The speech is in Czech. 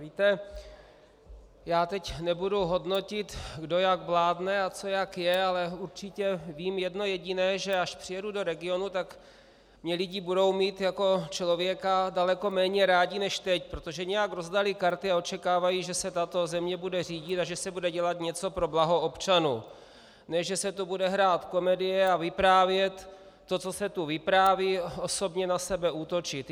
Víte, já teď nebudu hodnotit, kdo jak vládne a co jak je, ale určitě vím jedno jediné, že až přijedu do regionu, tak mě lidi budou mít jako člověka daleko méně rádi než teď, protože nějak rozdali karty a očekávají, že se tato země bude řídit a že se bude dělat něco pro blaho občanů, ne že se tu bude hrát komedie a vyprávět to, co se tu vypráví, osobně na sebe útočit.